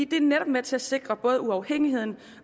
det er netop med til at sikre både uafhængighed